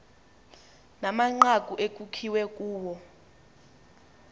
namanqaku ekukbiwe kuwo